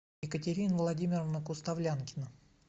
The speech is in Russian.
екатерина владимировна куставлянкина